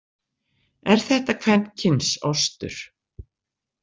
Er þetta kvenkyns ostur?